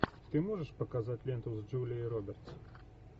ты можешь показать ленту с джулией робертс